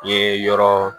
I ye yɔrɔ